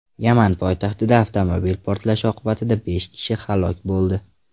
Yaman poytaxtida avtomobil portlashi oqibatida besh kishi halok bo‘ldi.